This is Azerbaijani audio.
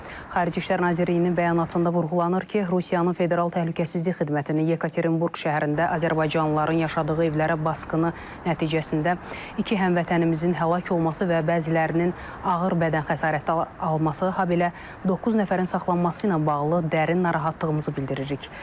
Xarici İşlər Nazirliyinin bəyanatında vurğulanır ki, Rusiyanın Federal Təhlükəsizlik Xidmətinin Yekaterinburq şəhərində azərbaycanlıların yaşadığı evlərə basqını nəticəsində iki həmvətənimizin həlak olması və bəzilərinin ağır bədən xəsarəti alması, habelə doqquz nəfərin saxlanması ilə bağlı dərin narahatlığımızı bildiririk.